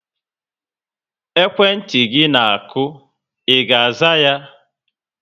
Ekwentị gị na aku, I ga aza yá?